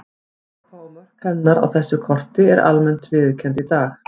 Evrópa og mörk hennar á þessu korti eru almennt viðurkennd í dag.